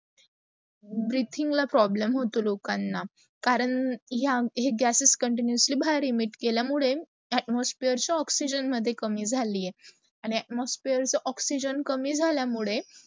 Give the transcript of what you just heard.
breathing ला problem होतो लोकांना. करण या हे gases continuesly बाहेर immite केला मुडे, atmosphere oxygen ला कमी जली आहेत. आणी atmosphere चा ऑक्सयगेन कमी झाल्या मुडे,